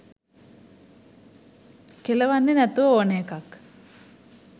කෙළවන්නේ නැතුව ඕන එකක්.